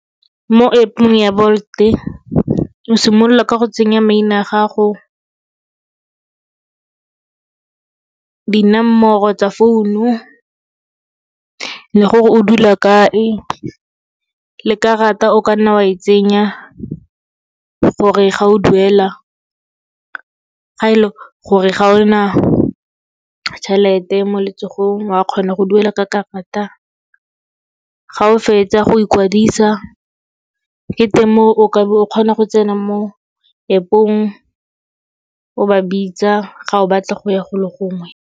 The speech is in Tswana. Mo App-ong ya Bolt, o simolola ka go tsenya maina a gago, dinomoro tsa founu le gore o dula kae, le karata o ka nna wa e tsenya gore ga o duela ga e le gore ga ona tjhelete mo letsogong, wa kgona go duela ka karata. Ga o fetsa go ikwadisa ke teng mo o kabo o kgona go tsena mo App-ong, o ba bitsa ga o batla go ya go le gongwe.